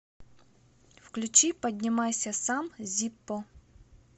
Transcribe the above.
включи поднимайся сам зиппо